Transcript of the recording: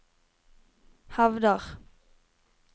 hevder